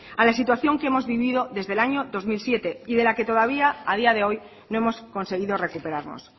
a la situación que hemos vivido desde el año dos mil siete y de la que todavía a día de hoy no hemos conseguido recuperarnos